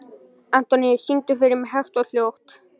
Antóníus, syngdu fyrir mig „Hægt og hljótt“.